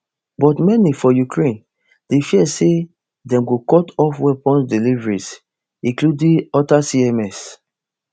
but many for ukraine dey fear say dem go cut off weapons deliveries including atacms